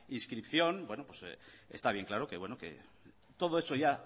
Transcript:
inscripción está bien claro que todo eso ya